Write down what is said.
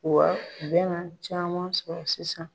Wa u be na caman sɔrɔ sisan.